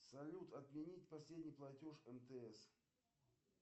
салют отменить последний платеж мтс